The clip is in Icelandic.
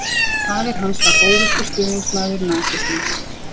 Faðir hans var óvirkur stuðningsmaður nasismans.